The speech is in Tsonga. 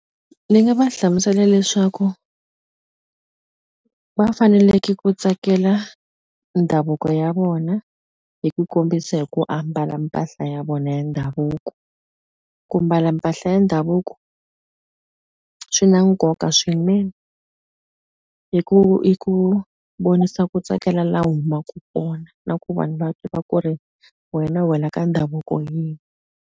Ni nga va hlamusela leswaku va faneleke ku tsakela ndhavuko ya vona hi ku kombisa hi ku ambala mpahla ya vona ya ndhavuko ku mbala mpahla ya ndhavuko swi na nkoka swinene hi ku hi ku vonisa ku tsakela la humaku kona na ku vanhu va ku ri wena wela ka ndhavuko .